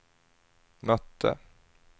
mötte